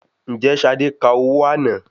Ǹjẹ́ Ṣadé ka owó àná?